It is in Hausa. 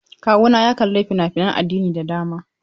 Kawuna ya kalla fina-finan addini da dama.